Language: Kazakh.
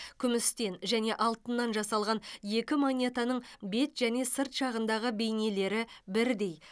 күмістен және алтыннан жасалған екі монетаның бет және сырт жағындағы бейнелері бірдей